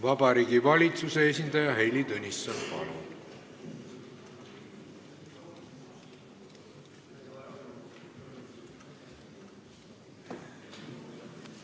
Vabariigi Valitsuse esindaja Heili Tõnisson, palun!